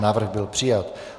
Návrh byl přijat.